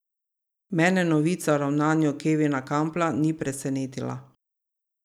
Mene novica o ravnanju Kevina Kampla ni presenetila.